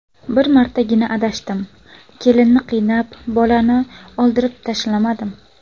Bir martaga adashdim, kelinni qiynab bolani oldirib tashlamadim.